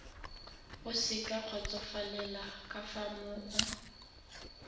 o sa kgotsofalela ka moo